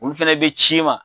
Olu fɛnɛ bi ci ma